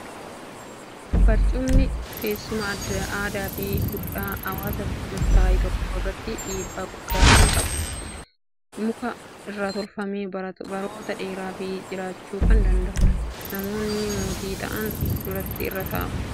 Barcumni teessuma aadaa fi duudhaa hawwaasa murtaa'e tokko irratti dhiibbaa guddaa kan qabdudha. Muka irraa tolfamee baroota dheeraa f jiraachuu kan danda'udha. Namoonni mootii ta'an duratti irra taa'u. Mana hambaa seenaatti argama.